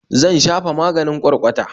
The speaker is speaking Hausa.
Zan shafa maganin ƙwarƙwata